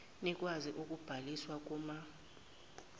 nikwazi ukubhaliswa kuma